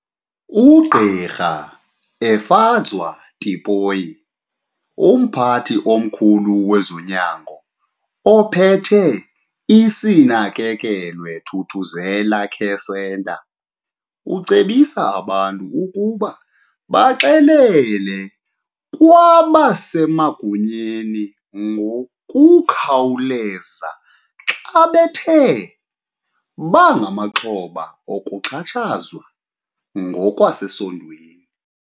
UGq Efadzwa Tipoy, umphathi omkhulu wezonyango ophethe iSinakekelwe Thuthuzela Care Centre, ucebisa abantu ukuba baxele kwabasemagunyeni ngokukhawulelza xa bethe bangamaxhoba okuxhatshazwa ngokwasesondweni.